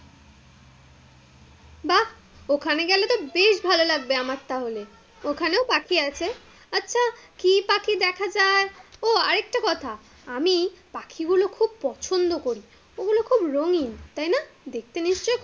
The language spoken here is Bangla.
বাহ্ ওখানে গেলে তো বেশ ভালো লাগবে আমার তাহলে, ওখানেও পাখি আছে? আচ্ছা, কি পাখি দেখা যায়? ও আরেকটা কথা, আমি পাখি গুলো খুব পছন্দ করি, ওগুলো খুব রঙিন তাই না? দেখতে নিশ্চই,